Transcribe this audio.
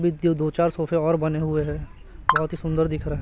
दो चार सोफे और बने हुए हैं बहोत ही सुन्दर दिख रहा--